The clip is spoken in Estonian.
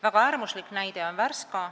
Väga äärmuslik näide on Värska.